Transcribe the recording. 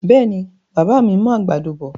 Bẹ́ẹ̀ni, bàbá mi mú àgbàdo bọ̀.